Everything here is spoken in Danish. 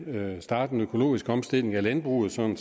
kunne starte en økologisk omstilling af landbruget sådan